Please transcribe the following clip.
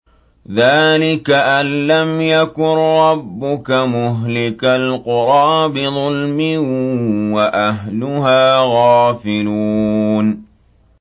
ذَٰلِكَ أَن لَّمْ يَكُن رَّبُّكَ مُهْلِكَ الْقُرَىٰ بِظُلْمٍ وَأَهْلُهَا غَافِلُونَ